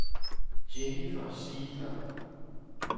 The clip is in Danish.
Jennifer Ziegler